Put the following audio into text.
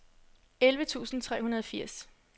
elleve tusind tre hundrede og firs